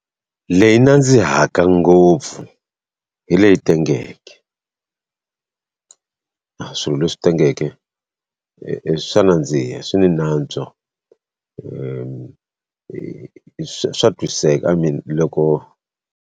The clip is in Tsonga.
Leyi yi nandzihaka ngopfu hi leyi tengeke a swilo leswi tengeke, swa nandziha swi ni nantswo swa twisiseka loko.